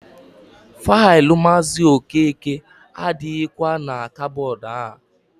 Faịlụ Maazị Okeke adịghịkwa na kabọọdụ a.